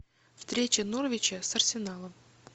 встреча норвича с арсеналом